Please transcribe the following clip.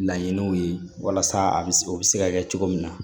Laɲiniw ye walasa a bɛ se o bɛ se ka kɛ cogo min na